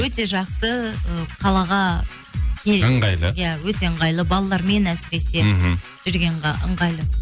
өте жақсы ы қалаға ыңғайлы иә өте ыңғайлы балалармен әсіресе мхм жүргенге ыңғайлы